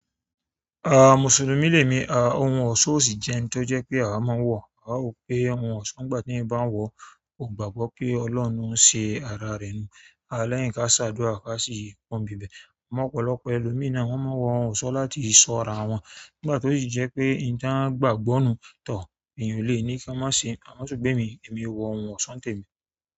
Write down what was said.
Mùsùlùmí lèmi, òun ò sọ si jẹ́ oun ti o jẹ́ pé a wa má ń wo, kò gbàgbọ́ pé oloun ló ṣe arare ni a lẹ́yìn ká ṣàdúrà ká sì pọnbi bẹ̀. Ọ̀pọ̀lọpọ̀ ẹlòmína wọ́n máa wọ ohun ọ̀ṣọ́ láti ṣọ́ra wọn. Nígbà tó sì jẹ́ pé ìtàn gbàgbọ́ nu tor èyàn lè ní kí a má ṣe, àmọ́ ṣùgbọ́n e mi, èmi wọ ohun ọ̀ṣọ́ ń tẹ́ mi.